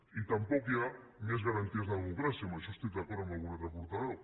i tampoc hi ha més garanties de democràcia en això estic d’acord amb algun altre portaveu